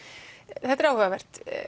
þetta er áhugavert